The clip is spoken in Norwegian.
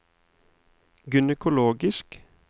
gynekologisk